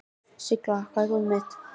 Sylgja, hvar er dótið mitt?